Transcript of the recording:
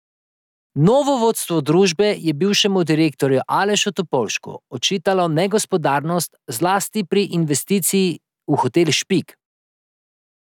Novo vodstvo družbe je bivšemu direktorju Alešu Topolšku očitalo negospodarnost zlasti pri investiciji v hotel Špik.